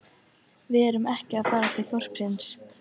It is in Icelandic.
Við erum ekki að fara til þorpsins